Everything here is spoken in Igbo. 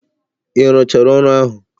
Ị rụchara ọrụ ahụ?